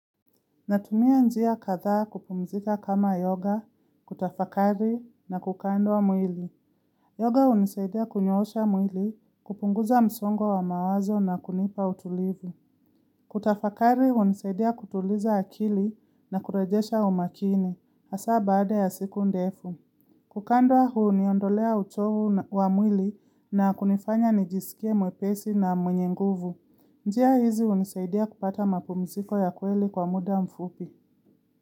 Natumia njia kadhaa kupumzika kama yoga, kutafakari, na kukandwa mwili. Yoga hunisaidia kunyoosha mwili, kupunguza msongo wa mawazo na kunipa utulivu. Kutafakari hunisaidia kutuliza akili na kurejesha umakini, hasa baada ya siku ndefu. Kukandwa huniondolea uchovu wa mwili na kunifanya nijisikie mwepesi na mwenye nguvu. Njia hizi unisaidia kupata mapumziko ya kweli kwa muda mfupi.